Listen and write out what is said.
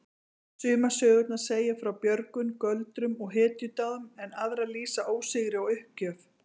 Sumar sögurnar segja frá björgun, göldrum og hetjudáðum en aðrar lýsa ósigri og uppgjöf.